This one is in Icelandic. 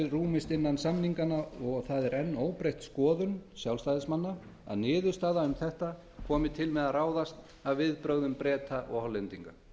rúmist innan samninganna og það er enn óbreytt skoðun sjálfstæðismanna að niðurstaða um þetta komi til með að ráðast af viðbrögðum breta og hollendinga